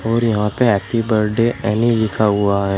और यहां पे हैप्पी बर्थडे एनी लिखा हुआ है।